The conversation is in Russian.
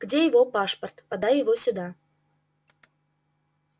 где его пашпорт подай его сюда